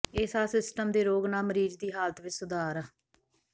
ਇਹ ਸਾਹ ਸਿਸਟਮ ਦੇ ਰੋਗ ਨਾਲ ਮਰੀਜ਼ ਦੀ ਹਾਲਤ ਵਿੱਚ ਸੁਧਾਰ